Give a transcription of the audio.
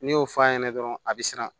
N'i y'o f'a ɲɛna dɔrɔn a bi siran